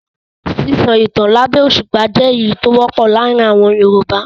Sísọ ìtan lábẹ́ òṣùpá jẹ́ èyí tó wọ́pọ̀ láàárin àwọn Yorùbá.